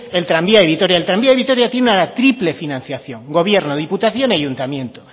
el tranvía de vitoria el tranvía de vitoria tiene una triple financiación gobierno diputación y ayuntamiento